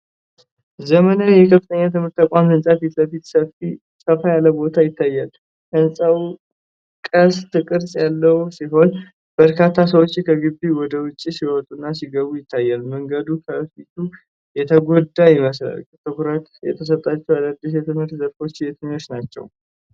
ዘመናዊ የከፍተኛ ትምህርት ተቋም ህንፃ ፊት ለፊት ሰፋ ያለ ቦታ ይታያል። ህንፃው ቅስት ቅርፅ ያለው ሲሆን፣ በርካታ ሰዎች ከግቢው ወደ ውጭ ሲወጡና ሲገቡ ይታያሉ። መንገዱ ከፊሉ የተጎዳ ይመስላል። ትኩረት የተሰጣቸው አዳዲስ የትምህርት ዘርፎች የትኞቹ ናቸው?